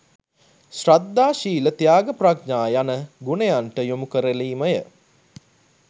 ශ්‍රද්ධා ශීල ත්‍යාග ප්‍රඥා යන ගුණයන්ට යොමුකරලීමය